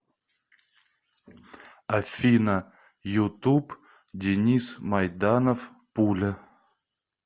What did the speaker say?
афина ютуб денис майданов пуля